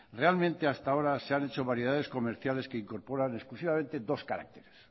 realmente hasta ahora se han hecho variedades comerciales que incorporan exclusivamente dos caracteres